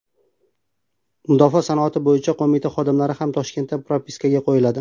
Mudofaa sanoati bo‘yicha qo‘mita xodimlari ham Toshkentda propiskaga qo‘yiladi.